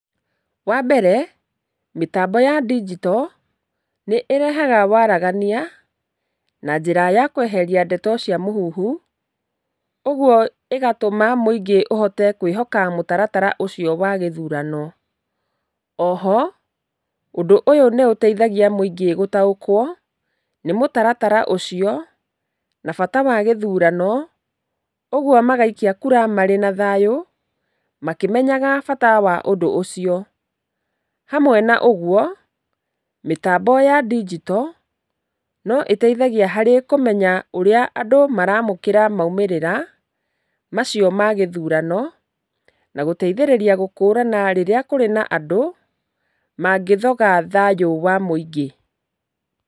Wambere mĩtambo ya ndinjito, nĩ ĩrehaga waragania na njĩra ya kweheria ndeto cia mũhuhu, ũguo ĩgatũma mũingĩ ũhote kwĩhoka mũtaratara ũcio wa gĩthurano. Oho, ũndũ ũyũ nĩ ũteithagia mũingĩ gũtaũkwo nĩ mũtaratara ũcio na bata wa gĩthurano, ũguo magaikia kura marĩ na thayũ, makĩmenyaga bata wa ũndũ ũcio. Hamwe na ũguo, mĩtambo ya ndinjito, no ĩteithagia harĩ kũmenya ũrĩa andũ maramũkĩra maumĩrĩra macio ma gĩthurano , na gũteithĩrĩria gũkũrana rĩrĩa kũrĩ na andũ mangĩthoga thayũ wa mũingĩ.